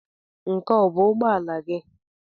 Nke a ọ bụ ụgbọ ala gị?